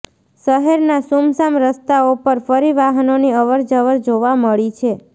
શહેરના સુમસામ રસ્તાઓ પર ફરી વાહનોની અવર જવર જોવા મળી છે